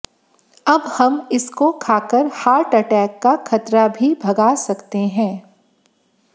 अब हम इसको खाकर हार्ट अटैक का खतरा भी भगा सकते है